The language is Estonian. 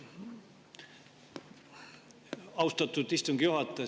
Austatud istungi juhataja!